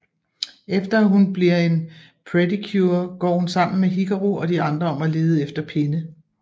Efter at hun bliver en Pretty Cure går hun sammen med Hikaru og de andre om at lede efter penne